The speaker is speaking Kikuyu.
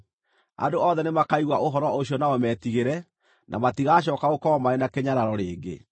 Andũ othe nĩmakaigua ũhoro ũcio nao metigĩre, na matigacooka gũkorwo marĩ na kĩnyararo rĩngĩ.